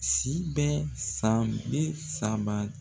Si bɛ san bi saba